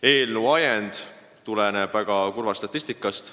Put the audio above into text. Eelnõu on ajendatud väga kurvast statistikast.